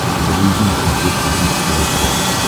загрузи на смотрешке бридж тв классик